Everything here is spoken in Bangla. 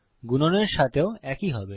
গুণনের সাথেও একই হয়